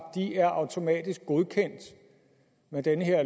automatisk er godkendt med det her